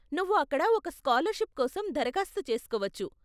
నువ్వు అక్కడ ఒక స్కాలర్షిప్ కోసం దరఖాస్తు చేసుకోవచ్చు.